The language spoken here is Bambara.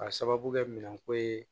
K'a sababu kɛ minɛnko ye